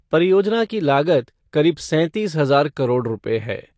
परियोजना की लागत करीब सैंतीस हजार करोड़ रूपए है।